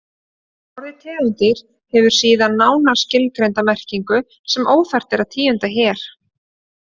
Orðið tegund hefur síðan nánar skilgreinda merkingu sem óþarft er að tíunda hér.